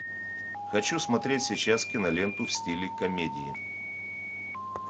хочу смотреть сейчас киноленту в стиле комедии